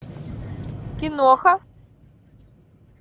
киноха